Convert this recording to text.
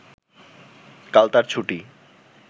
কাল তার ছুটি